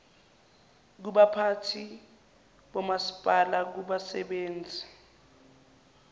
kubaphathi bomasipala kubasebenzi